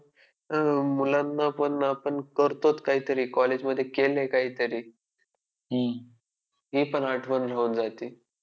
अं मुलांना पण आपण करतोच काहीतरी college मध्ये केलंय काहीतरी ही पण आठवण राहून जाते.